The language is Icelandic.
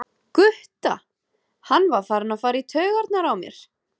Gutta, hann var farinn að fara í taugarnar á mér.